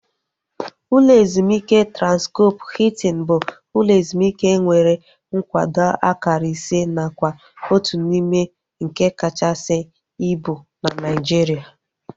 Ụlọ ezumike Transkọp Hiltin bụ ụlọ ezumike nwere nkwado akara ise nakwa otu n'ime nke kachasị ibu na Naijiria